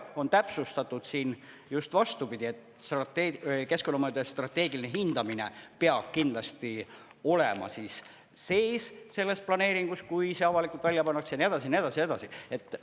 On täpsustatud siin just vastupidi, et keskkonnamõjude strateegiline hindamine peab kindlasti olema sees selles planeeringus, kui see avalikult välja pannakse ja nii edasi ja nii edasi ja nii edasi.